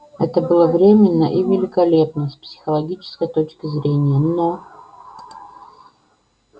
это было временно и великолепно с психологической точки зрения но